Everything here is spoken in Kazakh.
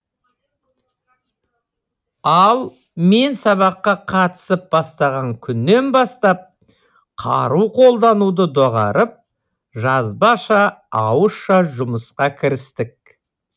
ал мен сабаққа қатысып бастаған күннен бастап қару қолдануды доғарып жазбаша ауызша жұмысқа кірістік